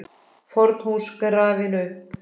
FORN HÚS GRAFIN UPP